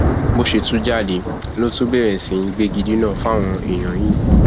bó ṣe tún jáde ló tún bẹrẹ sí í gbégidínà fáwọn èèyàn yìí